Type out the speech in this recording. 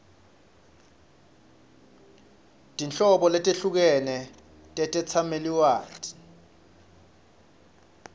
tinhlobo letehlukene tetetsamelilwati